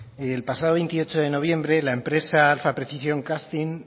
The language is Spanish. el pasado veintiocho de noviembre la empresa alfa precision casting